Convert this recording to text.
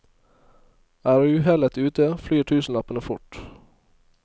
Er uhellet ute, flyr tusenlappene fort.